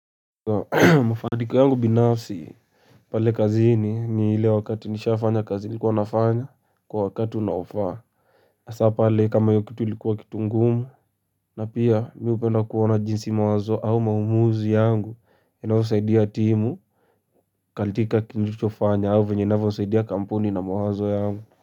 Kwa mafanikio yangu binafsi pale kazini ni ile wakati nishafanya kazini nilikuwa nafanya kwa wakati unaofaa hasa pale kama hiyo kitu ilikuwa kitu ngumu na pia mimi hupenda kuona jinsi mawazo au maumuzi yangu inavyosaidia timu. Katika kilichofanya au vyenye navosaidia kampuni na mawazo yangu.